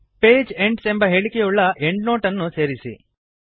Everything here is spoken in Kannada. ಪೇಜ್ ಎಂಡ್ಸ್ ಎಂಬ ಹೇಳಿಕೆಯುಳ್ಳ ಎಂಡ್ನೋಟ್ ಅನ್ನು ಸೇರಿಸಿ